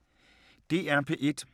DR P1